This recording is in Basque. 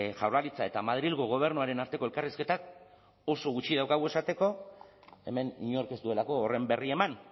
jaurlaritza eta madrilgo gobernuaren arteko elkarrizketak oso gutxi daukagu esateko hemen inork ez duelako horren berri eman